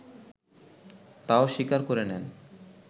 তাও স্বীকার করে নেন